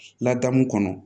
Ladamu kɔnɔ